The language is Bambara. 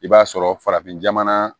I b'a sɔrɔ farafin jamana